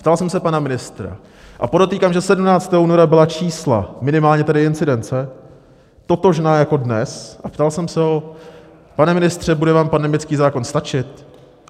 Ptal jsem se pana ministra a podotýkám, že 17. února byla čísla, minimálně tedy incidence, totožná jako dnes, a ptal jsem se ho: Pane ministře, bude vám pandemický zákon stačit?